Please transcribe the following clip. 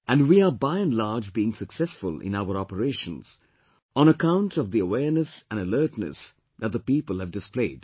And we are by and large being successful in our operations on account of the awareness and alertness that the people have displayed